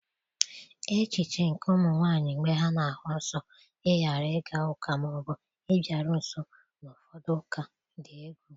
echiche nke ụmụ nwanyị mgbe ha na-ahụ nsọ ịghara ịga ụka ma ọ bụ ịbịaru nso n'ụfọdụ ụka dị egwu.